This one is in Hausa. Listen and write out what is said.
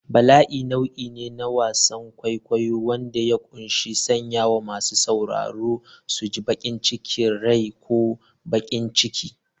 Bala'i nau'i ne na wasan kwaikwayo wanda ya ƙunshi sanya masu sauraro su ji bacin rai ko baƙin ciki.